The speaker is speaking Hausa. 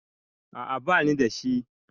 A'a bani da shi.